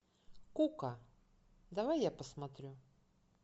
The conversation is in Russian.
кука давай я посмотрю